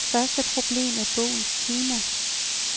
Første problem er bogens tema.